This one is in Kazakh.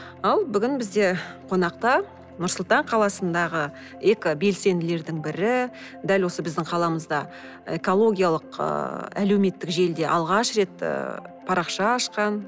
ал бүгін бізде қонақта нұрсұлтан қаласындағы экобелсенділердің бірі дәл осы біздің қаламызда экологиялық ыыы әлеуметтік желіде алғаш рет ы парақша ашқан